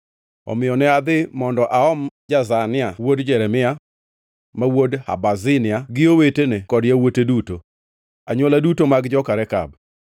Omiyo ne adhi mondo aom Jazania wuod Jeremia, ma wuod Habazinia gi owetene kod yawuote duto, anywola duto mag joka Rekab.